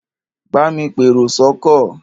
Bámi pèrò sọ́kọ̀!